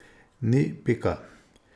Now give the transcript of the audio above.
Ni pika.